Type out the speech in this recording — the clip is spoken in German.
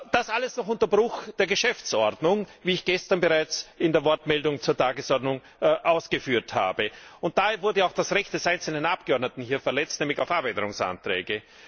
Das alles noch unter Bruch der Geschäftsordnung, wie ich gestern bereits in der Wortmeldung zur Tagesordnung ausgeführt habe. Daher wurde auch das Recht des einzelnen Abgeordneten verletzt, nämlich auf Änderungsanträge.